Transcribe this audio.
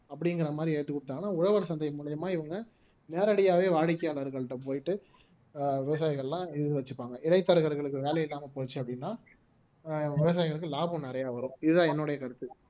அப்படிங்கிற மாதிரி ஏத்தி கொடுத்தாங்கன்னா உழவர் சந்தை மூலியமா இவங்க நேரடியாவே வாடிக்கையாளர்கள்கிட்ட போயிட்டு ஆஹ் விவசாயிகள் எல்லாம் இது வச்சுப்பாங்க இடைத்தரகர்களுக்கு வேலை இல்லாம போச்சு அப்படின்னா ஆஹ் விவசாயிகளுக்கு லாபம் நிறையா வரும் இதுதான் என்னுடைய கருத்து